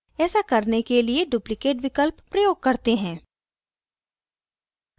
ऐसा करने के लिए duplicate विकल्प प्रयोग करते हैं